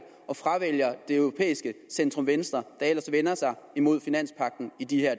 og fravælger det europæiske centrum venstre der ellers vender sig imod finanspagten i de her